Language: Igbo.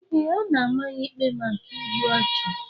Ee, a na-ama ya ikpe maka igbu ọchụ.